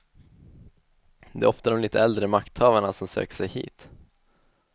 Det är ofta de lite äldre makthavarna som söker sig hit.